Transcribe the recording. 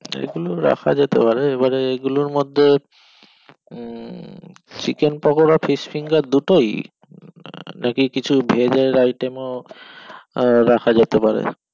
এই গুলো রাখা যেতে পারে এবারে এগুলোর মধ্যে um chicken pakora fish finger দুটোই আহ নাকি কিছু veg এর item ও আহ রাখা যেতে পারে